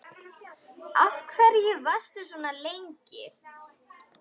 Af hverju varstu svona lengi?